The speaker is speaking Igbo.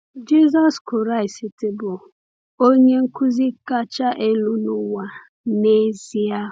Jisọs Kraịst bụ Onye Nkuzi kacha elu n’ụwa, n’ezie.